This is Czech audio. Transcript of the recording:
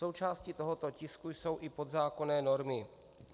Součástí tohoto tisku jsou i podzákonné normy.